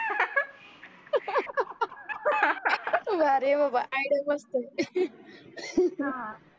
वा रे बाबा काय डोकं असतं हा